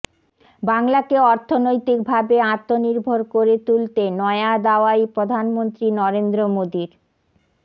বাংলাকে অর্থনৈতিক ভাবে আত্মনির্ভর করে তুলতে নয়া দাওয়াই প্রধানমন্ত্রী নরেন্দ্র মোদীর